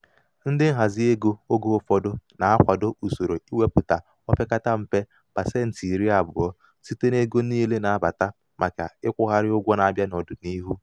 ndị nhazi ego oge ụfọdụ na-akwado usoro iwepụta o pekata mpe um pasenti iri abụọ site n'ego um niile na-abata maka ịkwụgharị ụgwọ na-abịa n'ọdịniihu. um